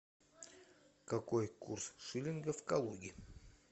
какой курс шиллинга в калуге